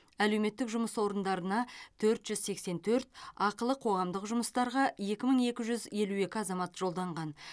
әлеуметтік жұмыс орындарына төрт жүз сексен төрт ақылы қоғамдық жұмыстарға екі мың екі жүз елу азамат жолданған